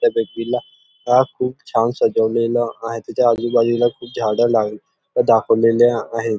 त्या बेबी ला खुप छान सजवलेल आहे त्याच आजूबाजूला खुप झाड लाव दाखवलेले आहेत.